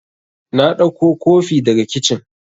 Na ɗauko kofi daga kicin